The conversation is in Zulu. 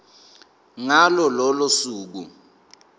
ngalo lolo suku